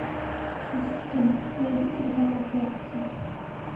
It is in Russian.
ассистент найди телеканал пятница